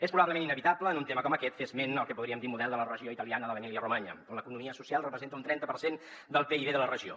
és probablement inevitable en un tema com aquest fer esment del que en podríem dir model de la regió italiana de l’emília romanya on l’economia social representa un trenta per cent del pib de la regió